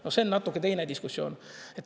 No see on natuke teine diskussioon.